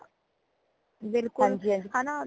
ਬਿਲਕੁਲ ਹੈ ਨਾ